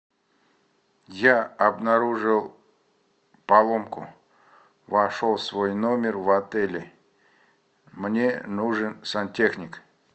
я обнаружил поломку вошел в свой номер в отеле мне нужен сантехник